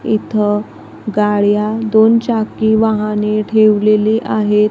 इथं गाड्या दोन चाकी वाहने ठेवलेली आहेत.